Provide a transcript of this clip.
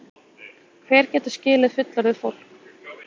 Hver getur skilið fullorðið fólk?